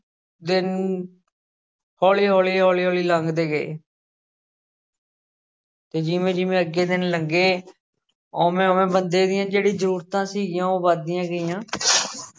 ਦਿਨ ਹੌਲੀ-ਹੌਲੀ, ਹੌਲੀ-ਹੌਲੀ ਲੰਘਦੇ ਗਏ ਤੇ ਜਿਵੇਂ ਜਿਵੇਂ ਅੱਗੇ ਦਿਨ ਲੰਘੇ ਉਵੇਂ ਉਵੇਂ ਬੰਦੇ ਦੀਆਂ ਜਿਹੜੀ ਜ਼ਰੂਰਤਾਂ ਸੀਗੀਆਂ ਉਹ ਵੱਧਦੀਆਂ ਗਈਆਂ